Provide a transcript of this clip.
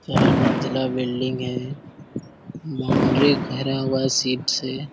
चार मंजिला बिल्डिंग है बाउंड्री भरा हुआ है सीट से।